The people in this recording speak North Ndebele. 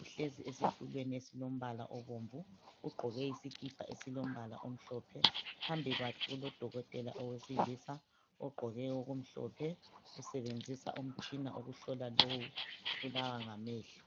uhlezi esitulweni esilombala obomvu, ugqoke isikipa esilombala omhlophe, phambi kwakhe kulo dokotela owesilisa ugqoke okumhlophe usebenzisa umtshina wokuhlola lowu obulawa ngamehlo.